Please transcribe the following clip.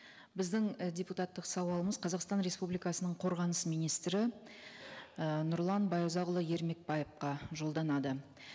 біздің і депутаттық сауалымыз қазақстан республикасының қорғаныс министрі і нұрлан байұзақұлы ермекбаевқа жолданады